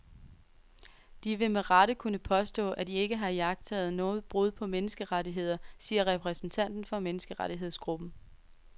De vil med rette kunne påstå, at de ikke har iagttaget noget brud på menneskerettigheder, siger repræsentanten for menneskerettighedsgrupppen.